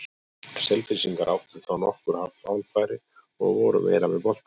Selfyssingar áttu þá nokkur hálffæri og voru meira með boltann.